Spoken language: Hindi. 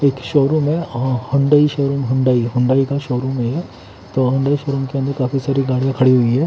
एक शोरूम में हुंडई शोरूम हुंडई हुंडई का शोरूम है। तो हुंडई शोरूम के अंदर काफी सारी गाड़ियां खड़ी हुई है।